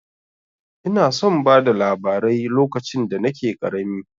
Ina son bada labarai lokacin da nake ƙarami.